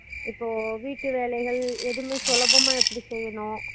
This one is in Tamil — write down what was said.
அஹ் home science னா இப்போ வீட்டு வேலைகள் எதுமே சொலபாமா எப்புடி செய்யணும்